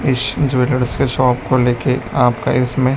इस ज्वेलर्स के शॉप को लेके आपका इसमें--